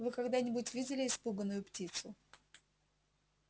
вы когда-нибудь видели испуганную птицу